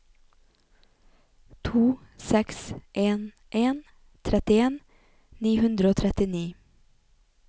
to seks en en trettien ni hundre og trettini